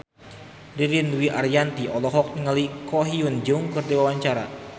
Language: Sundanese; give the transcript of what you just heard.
Ririn Dwi Ariyanti olohok ningali Ko Hyun Jung keur diwawancara